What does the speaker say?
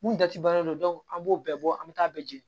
Mun dati bannen do an b'o bɛɛ bɔ an bɛ taa bɛɛ jeni